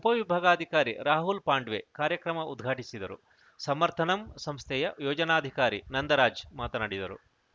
ಉಪವಿಭಾಗಾಧಿಕಾರಿ ರಾಹುಲ್‌ ಪಾಂಡ್ವೆ ಕಾರ್ಯಕ್ರಮ ಉದ್ಘಾಟಿಸಿದರು ಸಮರ್ಥನಂ ಸಂಸ್ಥೆಯ ಯೋಜನಾಧಿಕಾರಿ ನಂದರಾಜ್‌ ಮಾತನಾಡಿದರು